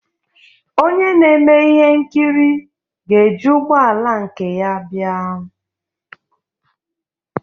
Onye na-eme ihe nkiri ga-eji ụgbọ ala nke ya bịa